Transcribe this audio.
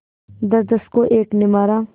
दसदस को एक ने मारा